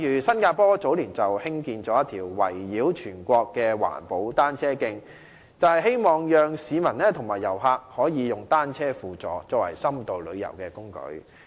新加坡早年興建了一條圍繞全國的環保單車徑，便是希望讓市民和遊客可以單車輔助，作為深度旅遊的工具。